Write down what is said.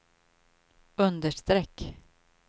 understreck